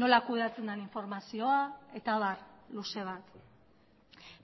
nola kudeatzen den informazioa eta abar luze bat